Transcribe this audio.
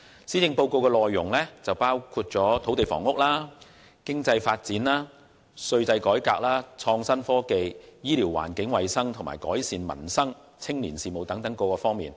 施政報告的內容涵蓋土地、房屋、經濟發展、稅制改革、創新科技、醫療、環境衞生，以及改善民生和青年事務等多方面。